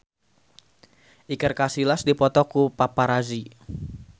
Iker Casillas dipoto ku paparazi